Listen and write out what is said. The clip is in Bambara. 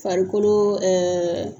Farikolo